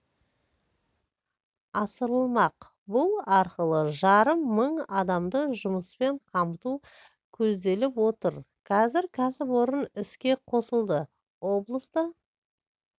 асырылмақ бұл арқылы жарым мың адамды жұмыспен қамту көзделіп отыр қазір кәсіпорын іске қосылды облыста